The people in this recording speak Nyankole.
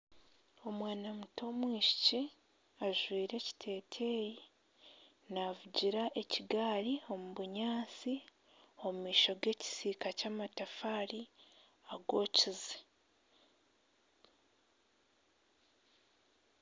Omwana muto w'omwishiki ajwaire ekiteteyi naavugira ekigaari omu bunyatsi omu maisho g'ekisiika ky'amatafaari agokize